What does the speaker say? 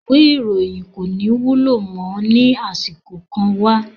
Ìwé ìròyìn kò ní wúlò mọ́ ní àsìkò kan wá